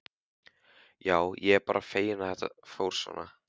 Já, ég er bara feginn að þetta fór svona.